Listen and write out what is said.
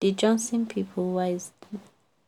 di johnson people wise